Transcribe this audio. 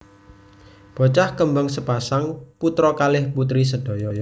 Bocah kembang sepasang putra kalih putri sedaya